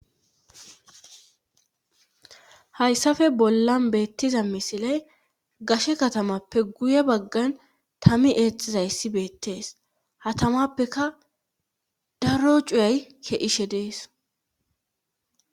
hayssafe bollan beettiza misiley gashe katamappe guye baggan tami eexizayssi beettees hatamappeka daro cuyay keishe dees